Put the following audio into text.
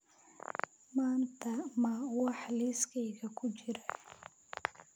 Maanta ma wax liiskayga ku jira?